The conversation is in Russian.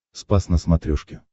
спас на смотрешке